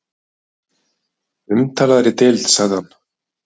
Umtalaðri deild sagði hann.